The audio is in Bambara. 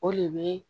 O de bɛ